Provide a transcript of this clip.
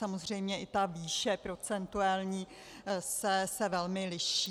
Samozřejmě i ta výše procentuální se velmi liší.